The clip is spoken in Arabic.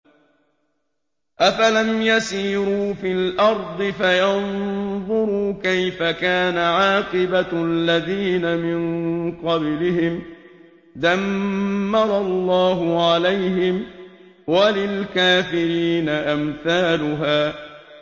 ۞ أَفَلَمْ يَسِيرُوا فِي الْأَرْضِ فَيَنظُرُوا كَيْفَ كَانَ عَاقِبَةُ الَّذِينَ مِن قَبْلِهِمْ ۚ دَمَّرَ اللَّهُ عَلَيْهِمْ ۖ وَلِلْكَافِرِينَ أَمْثَالُهَا